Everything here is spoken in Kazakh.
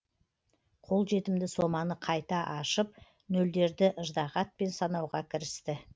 қолжетімді соманы қайта ашып нөлдерді ыждағатпен санауға кірісті